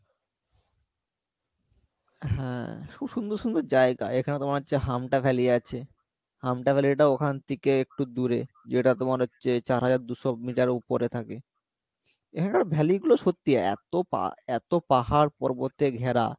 হ্যাঁ খুব সুন্দর সুন্দর জায়গা এখানে তোমার হচ্ছে হামটা valley আছে হামটা valley টাও ওখান থেকে একটু দূরে যেটা তোমার হচ্ছে চার হাজার দুশো মিটার উপরে থাকে এখানকার valley গুলো সত্যি এত পা এত পাহাড় পর্বত এ ঘেরা